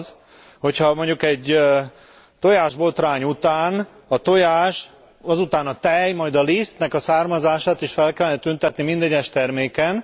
az, hogyha mondjuk egy tojásbotrány után a tojás, azután a tej, majd a lisztnek a származását is fel kellene tüntetni minden egyes terméken?